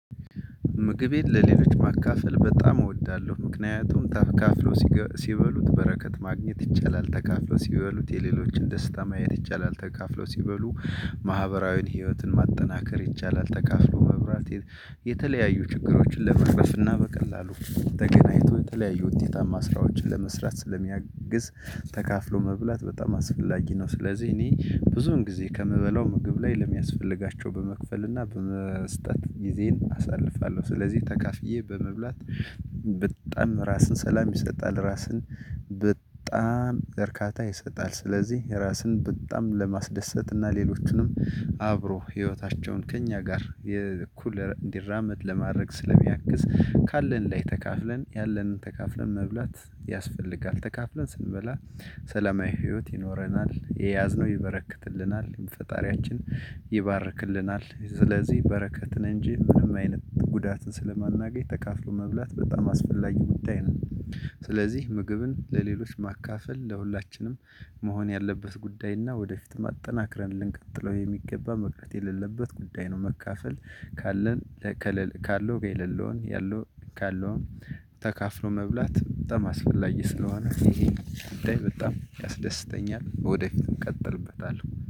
ምግቤን ለሌሎች ማካፈል በጣም እወዳለሁ ምክንያቱም ተካፍለው ሲበሉት በረከት ማግኘት ይቻላል ተካፍለው ሲበሉት የሌሎችን ደስታ ማየት ይቻላል ተካፍለው ሲበሉ ማህበራዊን ህይወትን ማጠናከር ይቻላል ተካፍሎ መብላት የተለያዩ ችግሮችን ለመቅረፍ እና በቀላሉ ተገናኝቶ የተለያዩ ውጤታማ ስራዎችን ለመስራት ስለሚያግዝ ተካፍሎ መብላት በጣም አስፈላጊ ነው። ስለዚህ እኔ ብዙን ጊዜ ከምበላው ምግብ ላይ ለሚያስፈልጋቸው በመክፈል እና በመስጠት ጊዜን አሳልፋለሁ ስለዚህ ተካፍዬ በመብላት። በጣም ራስን ሰላም ይሰጣል ራስን በጣም እርካታ ይሰጣል። ስለዚህ ራስን በጣም ለማስደሰት እና ሌሎቹንም አብሮ ህይወታቸውን ከእኛ ጋር የእኩል እንዲራመድ ለማድረግ ስለሚያግዝ ካለን ላይ ተካፍለን ያለንን ተካፍለን መብላት ያስፈልጋል። ተካፍለን ስንበላ ሰላማዊ ህይወት ይኖረናል። የያዝነው ይበረክትልናል የፈጣሪያችን ይባርክልናል ስለዚህ በረከት ነኝ እንጂ ምንም አይነት ጉዳት ስለማናገኝ ተካፍሎ መብላት በጣም አስፈላጊ ጉዳይ ነው። ስለዚህ ምግብን ለሌሎች ማካፈል ለሁላችንም መሆን ያለበት ጉዳይ እና ወደፊት ማጠናክረን ልንቀጥለው የሚገባ መቅረት የሌለበት ጉዳይ ነው። መካፈል ካለው የሌለውን ያለው ካለውን ተካፍሎ መብላት በጣም አስፈላጊ ስለሆነ ይሄ በጣም ያስደስተኛል። ወደፊት እንቀጥልበታለን